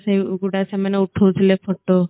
ସେ ଉଗୁଡା ସେ ମାନେ ଉଠଉ ଥିଲେ photo